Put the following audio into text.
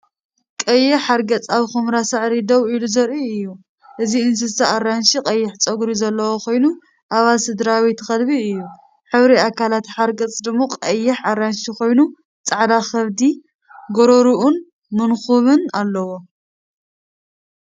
"ቀይሕ ሓርገጽ" ኣብ ኵምራ ሳዕሪ ደው ኢሉ ዘርኢ እዩ። እዚ እንስሳ ኣራንሺ ቀይሕ ጸጉሪ ዘለዎ ኮይኑ ኣባል ስድራቤት ከልቢ እዩ። ሕብሪ ኣካላት ሓርገጽ ድሙቕ ቀይሕ-ኣራንሺ ኮይኑ፡ ጻዕዳ ከብዲ፡ ጎሮሮኡን መንኵቡን ኣለዎ።